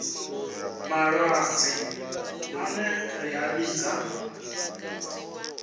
malwadze ane ra a vhidza